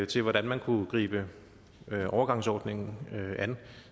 til hvordan man kunne gribe overgangsordningen an